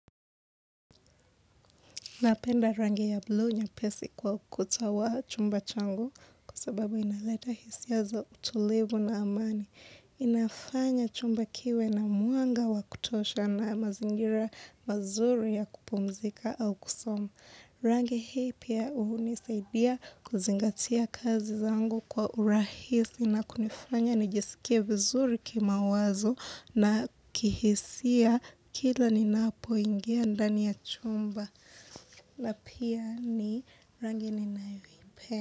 Napenda rangi ya bluu nyepesi kwa ukuta wa chumba changu kwa sababu inaleta hisia za utulivu na amani. Inafanya chumba kiwe na mwanga wa kutosha na mazingira mazuri ya kupumzika au kusoma. Rangi hii pia hunisaidia kuzingatia kazi zangu kwa urahisi na kunifanya nijisikia vizuri kima wazo na kihisia kila ninapoingia ndani ya chumba. Na pia ni rangi ninayoipenda.